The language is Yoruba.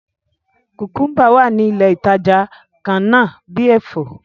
Kùkúmbà wá ní ilé ìtàjà kànnà bi èfó.